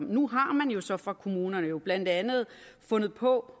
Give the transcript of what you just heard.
nu har man jo så fra kommunernes side blandt andet fundet på